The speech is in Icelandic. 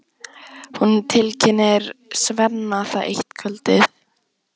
Hún tilkynnir Svenna það eitt kvöldið.